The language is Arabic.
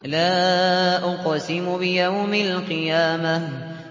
لَا أُقْسِمُ بِيَوْمِ الْقِيَامَةِ